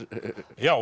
já